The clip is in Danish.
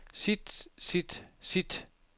sit sit sit